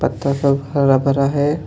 पत्थर पर हरा भरा हैं.